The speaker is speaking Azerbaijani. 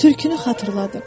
Tülkünü xatırladım.